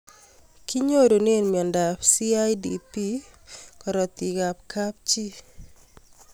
Kinyorune miondop CIDP karatik ab kapchii